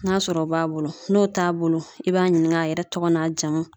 N'a sɔrɔ o b'a bolo, n'o t'a bolo i b'a ɲini k'a yɛrɛ tɔgɔ n'a jamu.